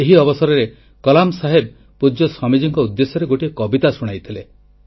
ଏହି ଅବସରରେ କଲାମ୍ ସାହେବ ପୂଜ୍ୟ ସ୍ୱାମୀଜୀଙ୍କ ଉଦ୍ଦେଶ୍ୟରେ ଗୋଟିଏ କବିତା ଶୁଣାଇଥିଲେ